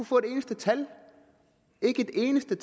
få et eneste tal ikke et eneste